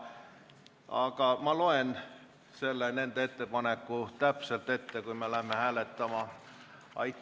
Aga ma loen nende ettepaneku täpselt ette, kui me hakkame hääletama.